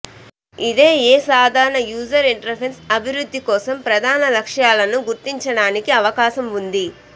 ఇది ఏ సాధారణ యూజర్ ఇంటర్ఫేస్ అభివృద్ధి కోసం ప్రధాన లక్ష్యాలను గుర్తించడానికి అవకాశం ఉంది